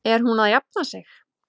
Er hún að jafna sig?